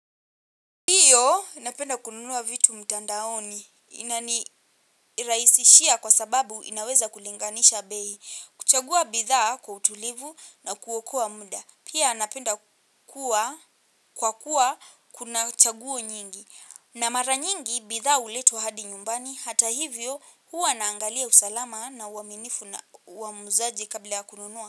Ndio napenda kununua vitu mtandaoni ina nirahisishia kwa sababu inaweza kulinganisha bei. Kuchagua bidhaa kwa utulivu na kuokoa muda. Pia napenda kwa kuwa kuna chaguo nyingi. Na mara nyingi bidhaa huletwa hadi nyumbani hata hivyo huwa naangalia usalama na uaminifu wa muuzaji kabla ya kununua.